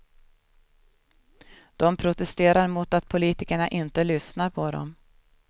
De protesterar mot att politikerna inte lyssnar på dem.